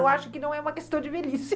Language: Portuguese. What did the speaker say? Eu acho que não é uma questão de velhice.